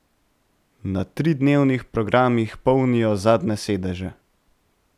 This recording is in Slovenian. Na tridnevnih programih polnijo zadnje sedeže.